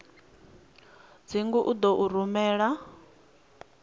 dzingu u ḓo u rumela